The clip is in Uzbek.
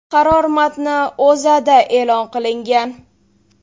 Qaror matni O‘zAda e’lon qilingan .